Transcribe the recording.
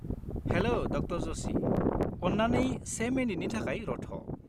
हेल' ड. जशि, अन्नानै से मिनिटनि थाखाय रथ'।